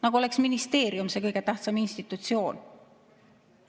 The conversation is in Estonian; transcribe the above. Nagu oleks ministeerium see kõige tähtsam institutsioon.